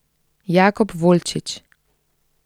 Jakob Volčič.